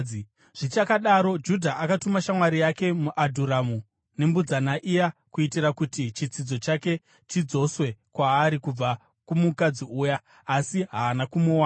Zvichakadaro, Judha akatuma shamwari yake muAdhuramu nembudzana iya kuitira kuti chitsidzo chake chidzoswe kwaari kubva kumukadzi uya, asi haana kumuwana.